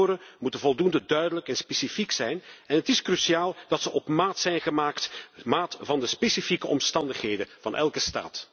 Indicatoren moeten voldoende duidelijk en specifiek zijn en het is cruciaal dat ze op maat zijn gemaakt, op maat van de specifieke omstandigheden van elke staat.